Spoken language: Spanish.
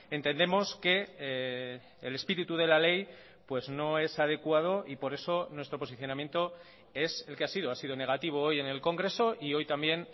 entendemos que el espíritu de la ley pues no es adecuado y por eso nuestro posicionamiento es el que ha sido ha sido negativo hoy en el congreso y hoy también